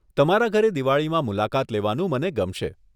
તમારા ઘરે દિવાળીમાં મુલાકાત લેવાનું મને ગમશે.